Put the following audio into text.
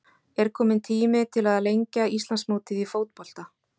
Er kominn tími til að lengja Íslandsmótið í fótbolta?